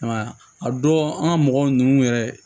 Ayiwa a don an ka mɔgɔw ninnu yɛrɛ